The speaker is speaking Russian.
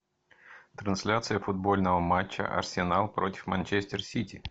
трансляция футбольного матча арсенал против манчестер сити